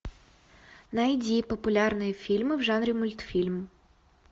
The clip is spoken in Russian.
найди популярные фильмы в жанре мультфильм